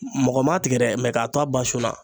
Mɔgɔ ma tigɛ dɛ mɛ k'a to a ba sun na